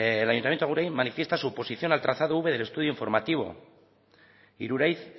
el ayuntamiento de agurain manifiesta su oposición al tratado quinto del estudio informativo iruraiz